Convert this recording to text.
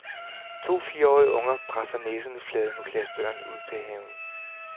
To fireårige unger presser næserne flade mod glasdøren ud til haven.